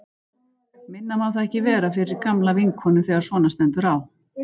Minna má það ekki vera fyrir gamla vinkonu þegar svona stendur á.